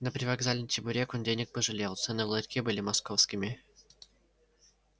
на привокзальный чебурек он денег пожалел цены в ларьке были московскими